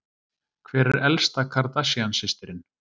Hver er elsta Kardashian systirin?